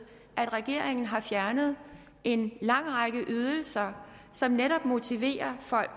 at regeringen har fjernet en lang række ydelser som netop motiverer folk